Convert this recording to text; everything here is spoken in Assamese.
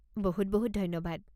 বহুত বহুত ধন্যবাদ!